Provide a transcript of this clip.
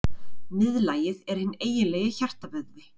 Miðlagið er hinn eiginlegi hjartavöðvi.